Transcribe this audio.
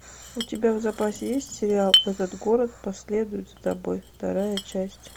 у тебя в запасе есть сериал этот город последует за тобой вторая часть